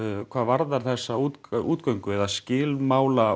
hvað varðar þessa útgöngu útgöngu eða skilmála